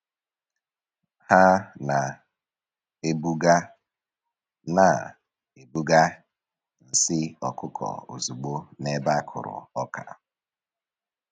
Ha na-ebuga na-ebuga nsị ọkụkọ ozugbo n’ebe a kụrụ ọka.